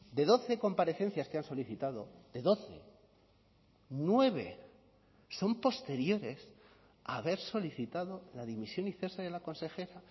de doce comparecencias que han solicitado de doce nueve son posteriores a haber solicitado la dimisión y cese de la consejera